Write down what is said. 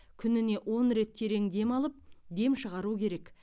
күніне он рет терең дем алып дем шығару керек